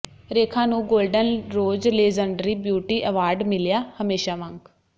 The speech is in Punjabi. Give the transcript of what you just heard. ਰੇਖਾ ਨੂੰ golden rose legendary beauty award ਮਿਲਿਆ ਹਮੇਸ਼ਾ ਵਾਂਗ